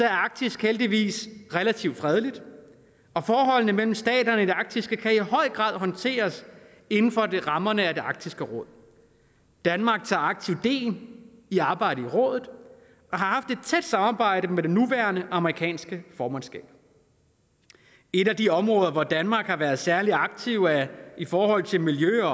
er arktis heldigvis relativt fredeligt og forholdene mellem staterne i det arktiske kan i høj grad håndteres inden for rammerne af arktisk råd danmark tager aktivt del i arbejdet i rådet og har haft et tæt samarbejde med det nuværende amerikanske formandskab et af de områder hvor danmark har været særlig aktiv er i forhold til miljø og